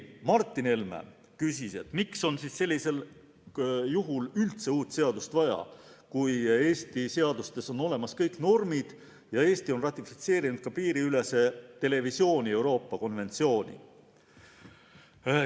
Martin Helme küsis, miks on sellisel juhul üldse uut seadust vaja, kui Eesti seadustes on olemas kõik normid ja Eesti on ratifitseerinud ka piiriülese televisiooni Euroopa konventsiooni.